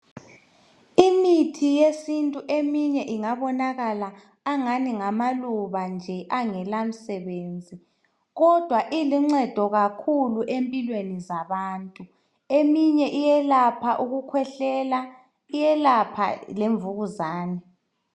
Emithi yesintu eminye ingabonakala engathi ngama luba nje angalamsebenzi kodwa iluncedo kakhulu empilweni zabantu eminye iyelapha ukukhwehlela, iyelapha lemvukuzane